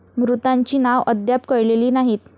मृतांची नाव अद्याप कळलेली नाहीत.